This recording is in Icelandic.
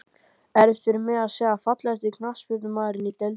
Erfitt fyrir mig að segja Fallegasti knattspyrnumaðurinn í deildinni?